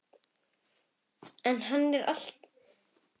En hann er alltaf gamall.